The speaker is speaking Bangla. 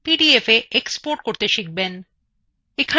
পিডিএফ হিসাবে export করুন